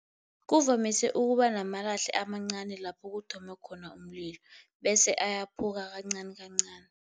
Kuvamise ukuba namalahle amancani lapho kuthome khona umlilo, bese ayaphuka kancani kancani.